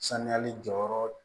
Saniyali jɔyɔrɔ